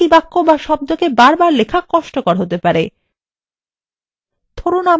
একই বাক্য be শব্দকে বারবার লেখা কষ্টকর হতে পারে